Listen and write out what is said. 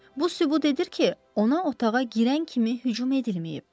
Bu sübut edir ki, ona otağa girən kimi hücum edilməyib.